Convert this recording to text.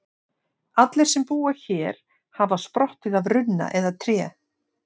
Allir sem búa hér hafa sprottið af runna eða tré.